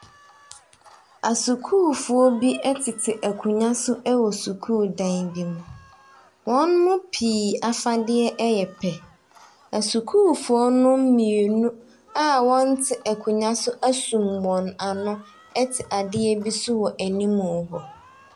Asukuufo bi ɛtete akonwa so ɛwɔ sukuu dan bi mu. Wɔn mu pii afadeɛ ɛyɛ pɛ. Esukuufoɔ nom mienu a wɔnte akonwa so esum wɔn ano ɛte adeɛ bi so wɔ enim hɔ.